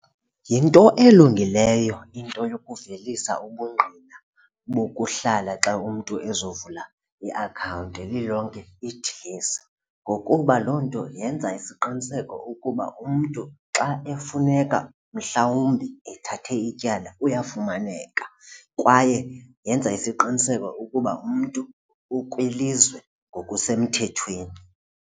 Yinto elungileyo into yokuvelisa ubungqina bokuhlala xa umntu ezovula iakhawunti lilonke idilesi ngokuba loo nto yenza isiqiniseko ukuba umntu xa efuneka mhlawumbi ethathe ityala uyafumaneka kwaye yenza isiqiniseko ukuba umntu ukwilizwe ngokusemthethweni.